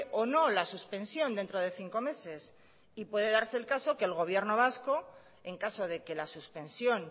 o no la suspensión dentro de cinco meses y puede darse el caso que el gobierno vasco en caso de que la suspensión